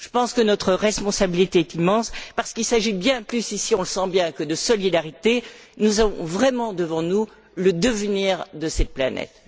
Je pense que notre responsabilité est immense parce qu'il s'agit bien plus ici, on le sent bien, que de solidarité, nous avons vraiment devant nous le devenir de cette planète.